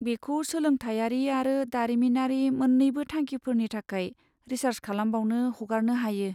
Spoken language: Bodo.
बेखौ सोलोंथायारि आरो दारिमिनारि मोन्नैबो थांखिफोरनि थाखाय रिसार्स खालामबावनो हगारनो हायो।